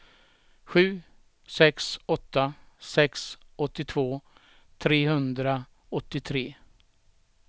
sju sex åtta sex åttiotvå trehundraåttiotre